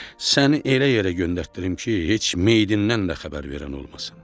Səni elə yerə göndərtdirim ki, heç meydindən də xəbər verən olmasın.